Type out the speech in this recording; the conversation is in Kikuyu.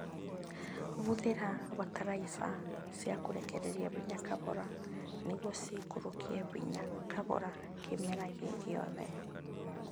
Hũthĩra bataraitha cia kũrekereria hinya kahora nĩguo ciikũrũkie hinya kahora kĩmera gĩ giothe